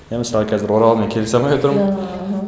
мен мысалы қазір оралмен келісе алмай отырмын